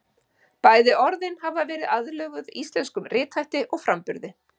Bæði orðin hafa verið aðlöguð íslenskum rithætti og framburði.